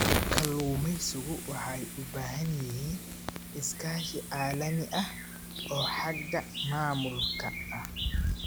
Kalluumaysigu waxay u baahan yihiin iskaashi caalami ah oo xagga maamulka ah.